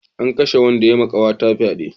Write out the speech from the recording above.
An kashe wanda ya ma kawata fyade